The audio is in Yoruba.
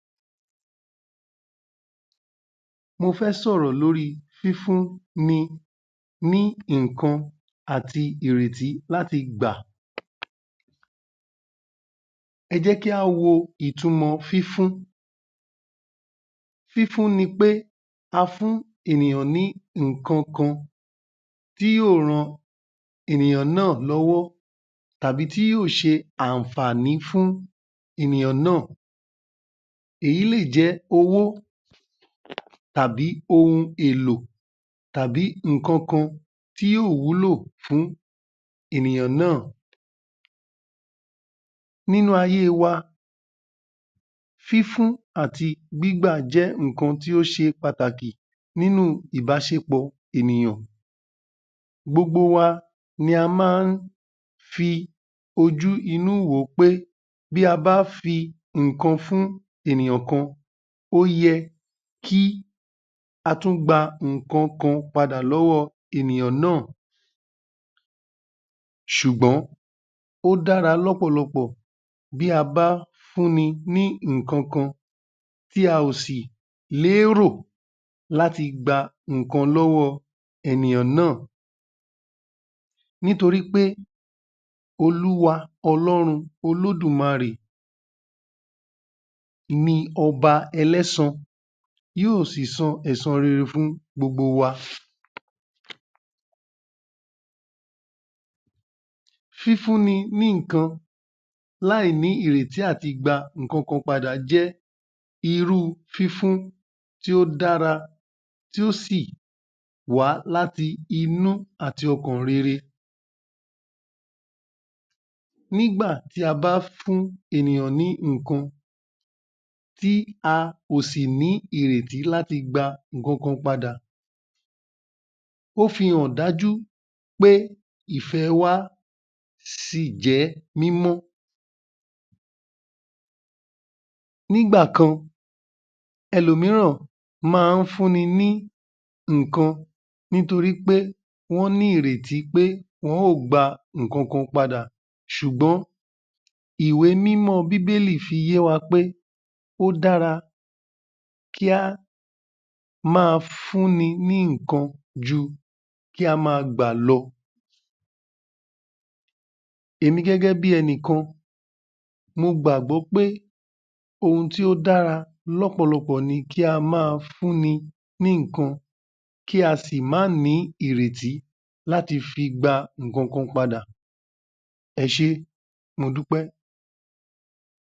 Mo fẹ́ sọ̀rọ̀ lóri fífún ni ní nǹkan àti ìrètí láti gbà. Ẹ jẹ́ kí á wo ìtumọ̀ fífún. Fífún ni pé a fún ènìyàn ní ǹkankan tí yóò rán ènìyàn náà lọ́wọ́ tàbí tí yóò ṣe ànfàní fún ènìyàn náà. Èyí lè jẹ́ owó tàbí ohun èlò tàbí ǹkankan tí yóò wúlò fún ènìyàn náà. Nínú ayé wa, fífún àti gbígbà jẹ́ nǹkan tí ó ṣe pàtàkì nínú ìbáṣepọ̀ ènìyàn. Gbogbo wa ni a máa ń fi ojú inú wòó pé bí a bá fi nǹkan fún ènìyàn kan, ó yẹ kí a tún gba nǹkan kan padà lọ́wọ́ ènìyàn náà. Ṣùgbọ́n ó dára lọ́pọ̀lọpọ̀ bí a bá fún ni ní ǹkankan tí a ò sì lérò láti gba nǹkan lọ́wọ́ ènìyàn náà. Nítorí pé Olúwa Ọlọ́run Olódùmarè ni ọba ẹlẹ́sa, yóò si san ẹ̀san rere fún gbogbo wa. Fífúnni ní nǹkan láì ní ìrètí àti gba ǹkankan padà jẹ́ irú fífún tí ó dára, tí ó sì wá láti inú àti ọkàn rere. Nígbà tí a bá fún ènìyàn ní nǹkan tí a kò sì ní ìrètí láti gba ǹkankan padà, ó fi hàn dájú pé ìfẹ́ wa sì jẹ́ mímọ́. Nígbà kan ẹlòmíràn máa ń fún ni ní nǹkan nítorí pé wọ́n ní ìrètí pé wọn ó gba ǹkankan padà ṣùgbọ́n Ìwé-Mímọ́ Bíbélì fi yé wa pé ó dára kí á ma fún ní ní nǹkan ju kí á ma gbà lọ. Èmi gẹ́gẹ́bí ẹnìkan, mo gbàgbọ́ pé ohun tí ó dára lọ́pọ̀lọpọ̀ ni kí á máa fún ni ní nǹkan kí a sì má nì ìrètí láti fi gba ǹkankan padà. Ẹṣé modúpẹ́